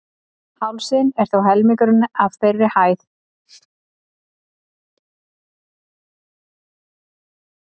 Hálsinn er þó helmingurinn af þeirri hæð.